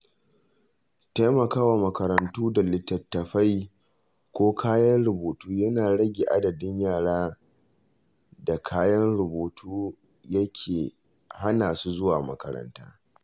Taimakawa makarantu da littattafai ko kayan rubutu yana rage adadin yaran da kayan rubutu ya ke hana su zuwa makaranta.